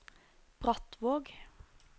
Brattvåg